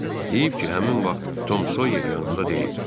Heyif ki, həmin vaxt Tom Soyer yanımda deyildi.